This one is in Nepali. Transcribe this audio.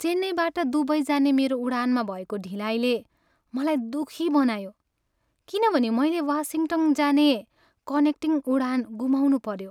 चेन्नईबाट दुबई जाने मेरो उडानमा भएको ढिलाइले मलाई दुखी बनायो किनभने मैले वासिङ्टन जाने कनेक्टिङ उडान गुमाउनुपऱ्यो।